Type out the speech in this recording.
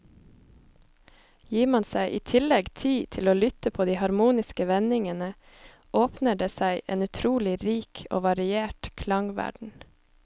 Gir man seg i tillegg tid til å lytte på de harmoniske vendingene, åpner det seg en utrolig rik og variert klangverden.